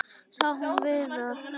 Sá hún Viðar?